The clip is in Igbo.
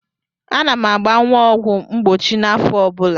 Ana m agba nwa a ọgwụ mgbochi n'afọ ọ bụla.